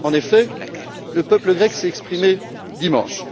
En effet, le peuple grec s'est exprimé dimanche.